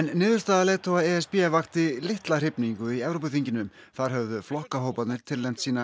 niðurstaða leiðtoga e s b vakti litla hrifningu í Evrópuþinginu þar höfðu flokkahóparnir tilnefnt sína